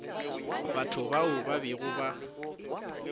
batho bao ba bego ba